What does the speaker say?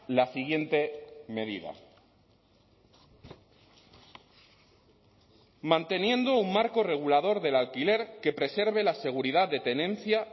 la siguiente medida manteniendo un marco regulador del alquiler que preserve la seguridad de tenencia